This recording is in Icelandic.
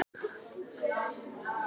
Leifur var greinilega mættur.